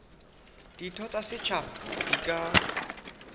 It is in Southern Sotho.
ditho tsa setjhaba di ka